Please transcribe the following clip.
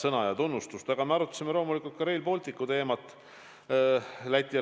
Aga ma arutasin Läti ja Leedu ametikaaslasega loomulikult ka Rail Balticu teemat.